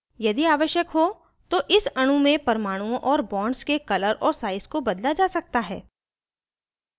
यदि आवश्यक हो तो इस अणु में परमाणुओं और bonds के color और size को बदला जा सकता है